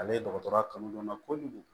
Ale dɔgɔtɔrɔya kanu don n na kojugu